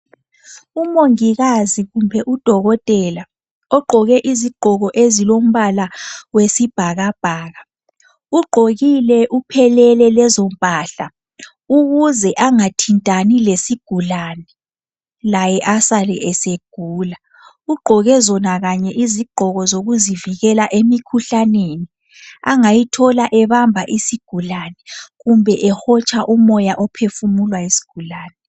Umongikazi kumbe udokodela, ogqoke izigqoko ezilombala wesibhakabhaka. Ugqokile uphelele lezo mpahla, ukuze angathintani lesigulane laye asale esegula. Ugqoke zona kanye izigqoko zokuzivikela emikhuhlaneni angayithola ebamba isigulane kumbe ehotsha umoya ophefumulwa yisigulane.